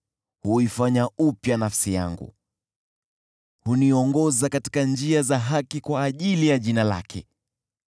hunihuisha nafsi yangu. Huniongoza katika njia za haki kwa ajili ya jina lake.